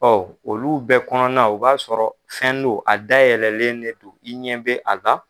olu bɛɛ kɔnɔna na, o b'a sɔrɔ fɛn don, a dayɛlɛlen de don, i ɲɛ be a la